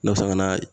Ne bɛ se ka naa